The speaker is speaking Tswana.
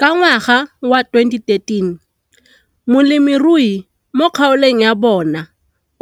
Ka ngwaga wa 2013, molemirui mo kgaolong ya bona